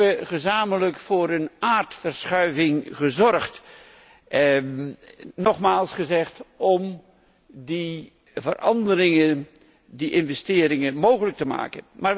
We hebben gezamenlijk voor een aardverschuiving gezorgd nogmaals gezegd om die veranderingen, die investeringen mogelijk te maken.